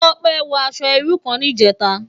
Tope wò aṣò irú kán nijètá